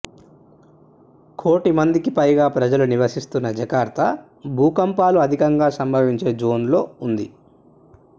కోటి మందికిపైగా ప్రజలు నివసిస్తున్న జకార్తా భూకంపాలు అధికంగా సంభవించే జోన్లో ఉంది